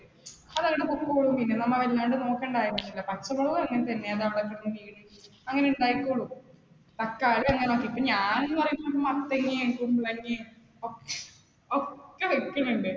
അത് അങ്ങനെ നമ്മൾ അങ്ങനെ നോക്കേണ്ട ആവശ്യമില്ല. പച്ചമുളക് അങ്ങനെ ഉണ്ടായിക്കോളും. തക്കാളി ഇപ്പം ഞാൻ എന്ന് പറയുമ്പോൾ മത്തങ്ങയും, കുമ്പളങ്ങയും ഒക്കെ ഒക്കെ വെക്കുന്നുണ്ട്.